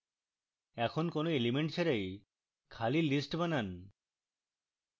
এখন কোন elements ছাড়াই খালি list বানান